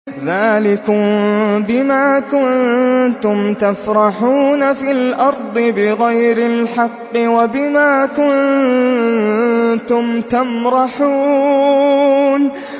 ذَٰلِكُم بِمَا كُنتُمْ تَفْرَحُونَ فِي الْأَرْضِ بِغَيْرِ الْحَقِّ وَبِمَا كُنتُمْ تَمْرَحُونَ